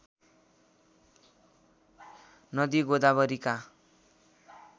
नदी गोदावरीका